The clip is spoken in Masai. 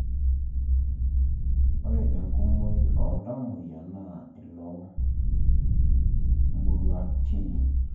Ore enkumooi oltamuoyia naa iloo muruatini